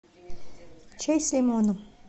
чай с лимоном